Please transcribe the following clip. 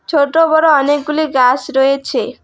ছোট বড় অনেকগুলি গাছ রয়েছে।